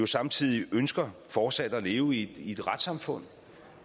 samtidig ønsker fortsat at leve i et retssamfund